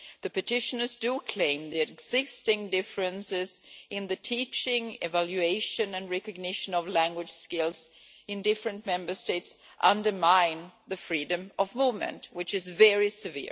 The petitioners claim that the existing differences in the teaching, evaluation and recognition of language skills in different Member States undermine the freedom of movement, which is very serious.